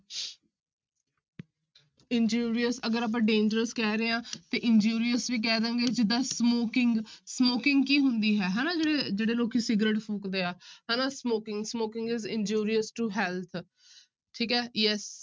Injurious ਅਗਰ ਆਪਾਂ dangerous ਕਹਿ ਰਹੇ ਹਾਂ ਤੇ injurious ਵੀ ਕਹਿ ਦੇਵਾਂਗਾ ਜਿੱਦਾਂ smoking, smoking ਕੀ ਹੁੰਦੀ ਹੈ ਹਨਾ ਜਿਹੜੇ, ਜਿਹੜੇ ਲੋਕੀ ਸਿਗਰਟ ਫੂਕਦੇ ਆ ਹਨਾ smoking, smoking is injurious to health ਠੀਕ ਹੈ yes